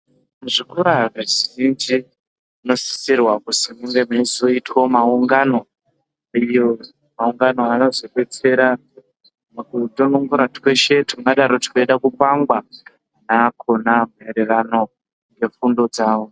Muzvikora zvizhinji tinosisirwa kusi kunge kusisoitwa maungano, maungano anozodetsera mukutonongora tweshe tungadaro tweida kukwangwa nakona maererano nefundo dzavo.